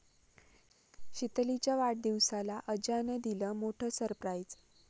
शीतलीच्या वाढदिवसाला अज्यानं दिलं मोठं सरप्राइझ